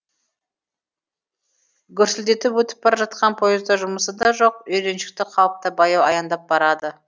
гүрсілдетіп өтіп бара жатқан поезда жұмысы да жоқ үйреншікті қалыпта баяу аяңдап барады